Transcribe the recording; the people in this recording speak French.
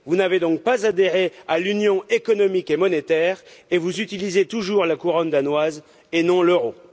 Vous n'avez donc pas adhéré à l'Union économique et monétaire et vous utilisez toujours la couronne danoise et non l'euro.